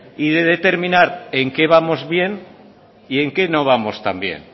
y determinar en qué vamos bien y en qué no vamos tan bien